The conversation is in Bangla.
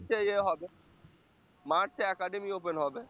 হবে মার্চে academy open হবে